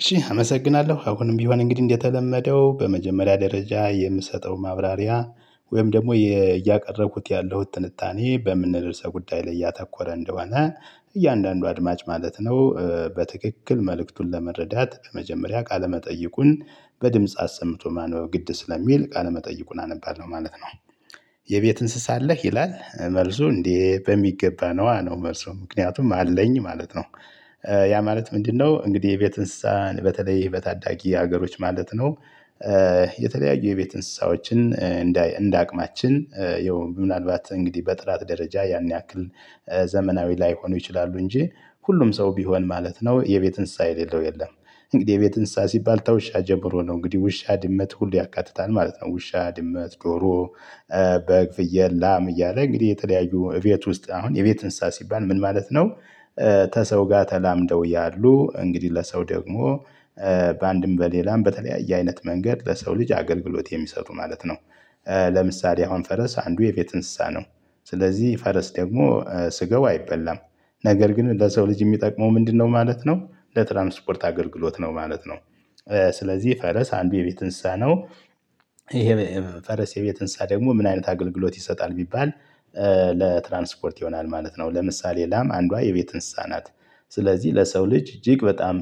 እሺ አመሰግናለሁ። አሁንም ቢሆን እንግዲህ እንደተለመደው በመጀመሪያ ደረጃ የምሰጠው ማብራሪያ ወይም ደግሞ እያቀረብኩት ያለሁት ትንታኔ በምን ርዕሰ ጉዳይ ላይ እያተኮረ እንደሆነ እያንዳንዱ አድማጭ ማለት ነው በትክክል መልእክቱን ለመረዳት በመጀመሪያ ቃለ መጠይቁን በድምጽ አሰምቶ ማንበብ ግድ ስለሚል ቃለመጠይቁን አነባል ነው ማለት ነው። የቤት እንስሳ አለህ? ይላል መልሱ እንዴ በሚገባ ነዋ ነው መልሱ ምክንያቱም አለኝ ማለት ነው። ያ ማለት ምንድነው እንግዲህ የቤት እንስሳ በተለይ በታዳጊ ሀገሮች ማለት ነው የተለያዩ የቤት እንስሳዎችን እንደ አቅማችን ያው ምናልባት እንግዲህ በጥራት ደረጃ ያን ያክል ዘመናዊ ላይሆኑ ይችላሉ እንጂ ሁሉም ሰው ቢሆን ማለት ነው የቤት እንስሳ የሌለው የለም እንግዲህ የቤት እንስሳ ሲባል ከውሻ ጀምሮ ነው እንግዲህ ውሻ ድመት ሁሉ ያካትታል ማለት ነው። ውሻ፣ ድመት፣ ዶሮ በግ፣ ፍየል፣ ላም እያለ እንግዲህ የተለያዩ እቤት ውስጥ አሁን የቤት እንስሳ ሲባል ምን ማለት ነው ከሰው ጋር ተላምደው ያሉ እንግዲህ ለሰው ደግሞ በአንድም በሌላም በተለያየ አይነት መንገድ ለሰው ልጅ አገልግሎት የሚሰጡ ማለት ነው። ለምሳሌ አሁን ፈረስ አንዱ የቤት እንስሳ ነው፣ ስለዚህ ፈረስ ደግሞ ስጋው አይበላም ነገር ግን ለሰው ልጅ የሚጠቅመው ምንድነው ማለት ነው ለትራንስፖርት አገልግሎት ነው ማለት ነው። ስለዚህ ፈረስ አንዱ የቤት እንስሳ ነው ይሄ ፈረስ የቤት እንስሳ ደግሞ ምን አይነት አገልግሎት ይሰጣል ቢባል ለትራንስፖርት ይሆናል ማለት ነው ለምሳሌ ላም አንዷ የቤት እንስሳ ናት ስለዚህ ለሰው ልጅ እጅግ በጣም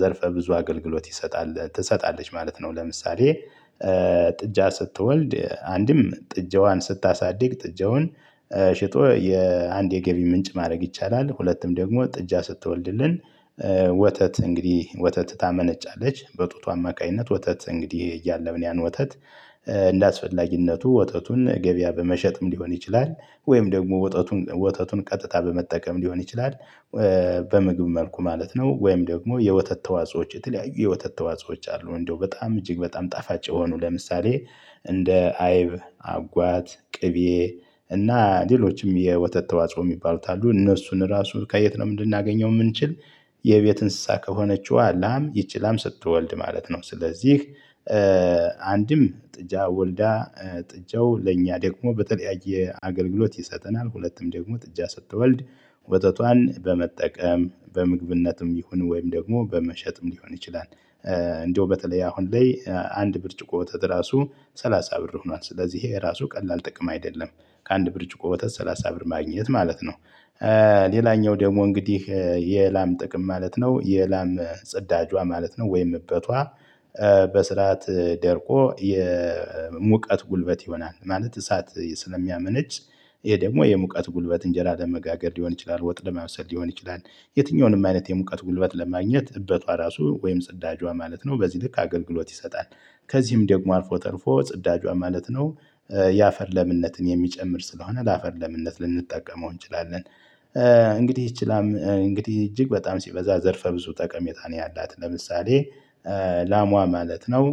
ዘርፈ ብዙ አገልግሎት ይሰጣል ትሰጣለች ማለት ነው ለምሳሌ ጥጃ ስትወልድ አንድም ጥጃዋን ስታሳድግ ጥጃውን ሸጦ የአንድ የገቢ ምንጭ ማድረግ ይቻላል፣ ሁለትም ደግሞ ጥጃ ስትወልድልን ወተት እንግዲህ ወተት ታመነጫለች በጡቷ አማካኝነት ወተት እንግዲህ እያለብን ያን ወተት እንደአስፈላጊነቱ ወተቱን ገበያ በመሸጥም ሊሆን ይችላል፣ ወይም ደግሞ ወተቱን ወተቱን ቀጥታ በመጠቀም ሊሆን ይችላል በምግብ መልኩ ማለት ነው ወይም ደግሞ የወተት ተዋጾዎች የተለያዩ የወተት ተዋጾዎች አሉ እንደው በጣም እጅግ በጣም ጣፋጭ የሆኑ ለምሳሌ እንደ አይብ፣ አጓት፣ ቅቤ፣ እና ሌሎችም የወተት ተዋጽኦ የሚባሉት አሉ እነሱን ራሱ ከየት ነው ልናገኘው የምንችል የቤት እንስሳ ከሆነችዋ ላም ይቺ ላም ስትወልድ ማለት ነው፤ ስለዚህ አንድም ጥጃ ወልዳ ጥጃው ለእኛ ደግሞ በተለያየ አገልግሎት ይሰጠናል፣ ሁለቱም ደግሞ ጥጃ ስትወልድ ወተቷን በመጠቀም በምግብነትም ይሁን ወይም ደግሞ በመሸጥም ሊሆን ይችላል እንደው በተለይ አሁን ላይ አንድ ብርጭቆ ወተት ራሱ ሰላሳ ብር ሆኗል ስለዚህ ይሄ ራሱ ቀላል ጥቅም አይደለም ከአንድ ብርጭቆ ወተት ሰላሳ ብር ማግኘት ማለት ነው። ሌላኛው ደግሞ እንግዲህ የላም ጥቅም ማለት ነው የላም ጽዳጇ ማለት ነው ወይም እበቷ በስርዓት ደርቆ የሙቀት ጉልበት ይሆናል ማለት እሳት ስለሚያመነጭ ይሄ ደግሞ የሙቀት ጉልበት እንጀራ ለመጋገር ሊሆን ይችላል፣ ወጥ ለማብሰል ሊሆን ይችላል፣ የትኛውንም አይነት የሙቀት ጉልበት ለማግኘት እበቷ ራሱ ወይም ጽዳጇ ማለት ነው በዚህ ልክ አገልግሎት ይሰጣል። ከዚህም ደግሞ አልፎ ተርፎ ጽዳጇ ማለት ነው የአፈር ለምነትን የሚጨምር ስለሆነ ለአፈር ለምነት ልንጠቀመው እንችላለን። እንግዲህ እጅግ በጣም ሲበዛ ዘርፈ ብዙ ጠቀሜታ ነው ያላት ለምሳሌ ላሟ ማለት ነው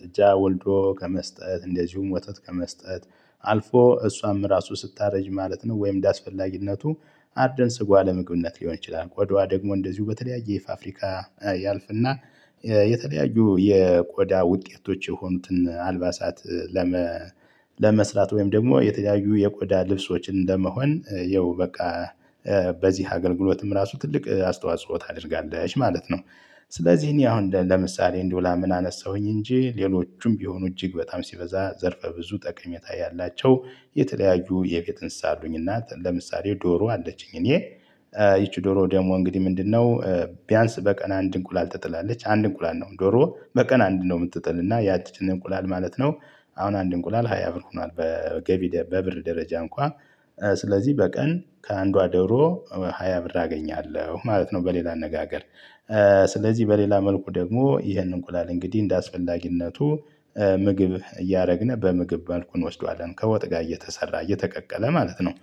ጥጃ ወልዶ ከመስጠት እንደዚሁም ወተት ከመስጠት አልፎ እሷም ራሱ ስታረጅ ማለት ነው ወይም እንደአስፈላጊነቱ አርደን ስጋዋ ለመግብነት ሊሆን ይችላል፣ ቆዳዋ ደግሞ እንደዚሁ በተለያየ ፋፍሪካ ያልፍና የተለያዩ የቆዳ ውጤቶች የሆኑትን አልባሳት ለመስራት ወይም ደግሞ የተለያዩ የቆዳ ልብሶችን ለመሆን ያው በቃ በዚህ አገልግሎትም ራሱ ትልቅ አስተዋጽኦ ታደርጋለች ማለት ነው። ስለዚህ እኔ አሁን ለምሳሌ እንዲሁ ላምን አነሳሁኝ እንጂ ሌሎቹም ቢሆኑ እጅግ በጣም ሲበዛ ዘርፈ ብዙ ጠቀሜታ ያላቸው የተለያዩ የቤት እንስሳ አሉኝና ለምሳሌ ዶሮ አለችኝ እኔ ይቺ ዶሮ ደግሞ እንግዲህ ምንድነው ቢያንስ በቀን አንድ እንቁላል ትጥላለች። አንድ እንቁላል ነው ዶሮ በቀን አንድ ነው የምትጥልና ያችን እንቁላል ማለት ነው አሁን አንድ እንቁላል ሃያ ብር ሆኗል በገቢ በብር ደረጃ እንኳን ስለዚህ በቀን ከአንዷ ደሮ ሃያ ብር አገኛለሁ ማለት ነው በሌላ አነጋገር። ስለዚህ በሌላ መልኩ ደግሞ ይህንን እንቁላል እንግዲህ እንደአስፈላጊነቱ ምግብ እያደረግን በምግብ መልኩ እንወስደዋለን ከወጥ ጋር እየተሰራ እየተቀቀለ ማለት ነው።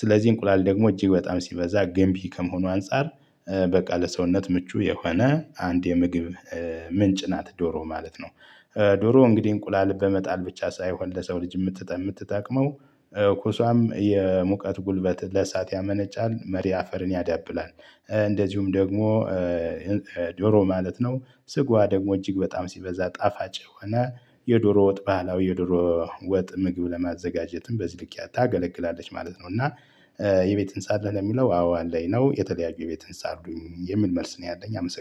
ስለዚህ እንቁላል ደግሞ እጅግ በጣም ሲበዛ ገንቢ ከመሆኑ አንፃር በቃ ለሰውነት ምቹ የሆነ አንድ የምግብ ምንጭ ናት ዶሮ ማለት ነው። ዶሮ እንግዲህ እንቁላል በመጣል ብቻ ሳይሆን ለሰው ልጅ የምትጠ የምትጠቅመው ኩሷም የሙቀት ጉልበት ለእሳት ያመነጫል መሪ አፈርን ያዳብላል እንደዚሁም ደግሞ ዶሮ ማለት ነው ስጋዋ ደግሞ እጅግ በጣም ሲበዛ ጣፋጭ የሆነ የዶሮ ወጥ ባህላዊ የዶሮ ወጥ ምግብ ለማዘጋጀትም በዚህ ልክ ታገለግላለች ማለት ነው እና የቤት እንስሳ አለህ ለሚለው አዎ አለኝ ነው የተለያዩ የቤት እንስሳ አሉኝ የሚል መልስ ነው ያለኝ አመሰግናለሁ።